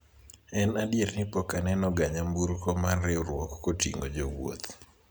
en adier ni pok aneno ga nyamburko mar riwruok koting'o jowuoth